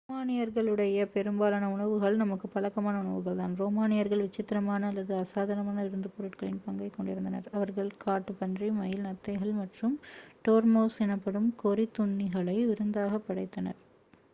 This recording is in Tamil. ரோமானியர்களுடைய பெரும்பாலான உணவுகள் நமக்கு பழக்கமான உணவுகள் தான் ரோமானியர்கள் விசித்தரமான அல்லது அசாதரமான விருந்துப் பொருட்களின் பங்கைக் கொண்டிருந்தனர் அவர்கள் காட்டுப்பன்றி மயில் நத்தைகள் மற்றும் டோர்மவுஸ் எனப்படும் கொறித்துண்ணிகளை விருந்தாக படைத்தனர்